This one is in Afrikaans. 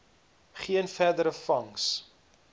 geen verdere vangs